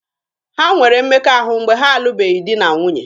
Ha nwere mmekọahụ mgbe ha alụbeghị di na nwunye.